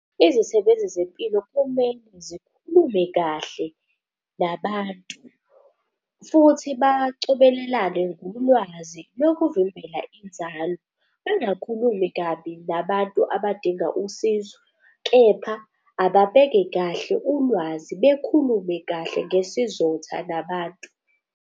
Izisebenzi zempilo kumele zikhulume kahle nabantu futhi bacobelelane ngolwazi lokuvimbela inzalo. Bangakhulumi kabi nabantu abadinga usizo, kepha ababeke kahle ulwazi bekhulume kahle ngesizotha nabantu.